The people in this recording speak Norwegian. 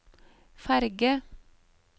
ferge